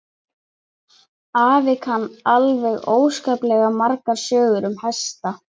Afi kann alveg óskaplega margar sögur um hesta.